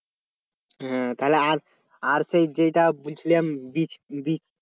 হ্যাঁ তাহলে আর আর সেই যেটা বলছিলাম বীজ বীজ